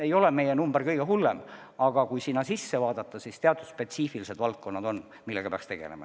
Ei ole meie number kõige hullem, aga kui sinna sisse vaadata, siis näeme, et on teatud spetsiifilised valdkonnad, millega peaks tegelema.